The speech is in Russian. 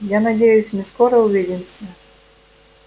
я надеюсь мы скоро увидимся